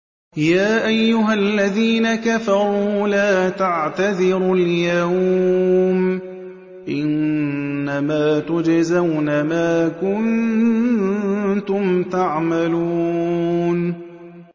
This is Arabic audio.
يَا أَيُّهَا الَّذِينَ كَفَرُوا لَا تَعْتَذِرُوا الْيَوْمَ ۖ إِنَّمَا تُجْزَوْنَ مَا كُنتُمْ تَعْمَلُونَ